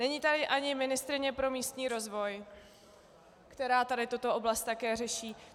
Není tady ani ministryně pro místní rozvoj, která tady tuto oblast také řeší.